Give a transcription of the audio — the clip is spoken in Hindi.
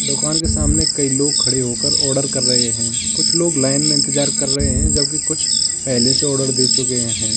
दुकान के सामने कई लोग खड़े होकर ऑर्डर कर रहे हैं कुछ लोग लाइन में इंतजार कर रहे हैं जबकि कुछ पहले से ऑर्डर दे चुके हैं।